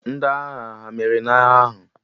Ndị agha hà meriri n'agha ahụ?